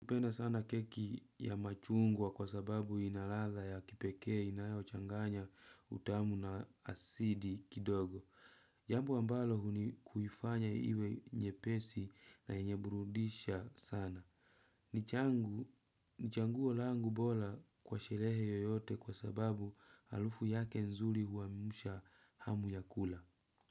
Napenda sana keki ya machungwa kwa sababu inaladha ya kipekee inayo changanya utamu na asidi kidogo. Jambo ambalo huni kuifanya iwe nye pesi na yenyeburudisha sana. Nichanguo langu bora kwa sherehe yoyote kwa sababu harufu yake nzuri huamsha hamu ya kula.